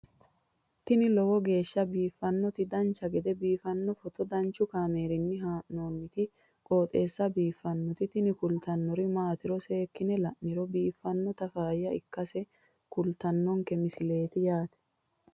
tini lowo geeshsha biiffannoti dancha gede biiffanno footo danchu kaameerinni haa'noonniti qooxeessa biiffannoti tini kultannori maatiro seekkine la'niro biiffannota faayya ikkase kultannoke misileeti yaate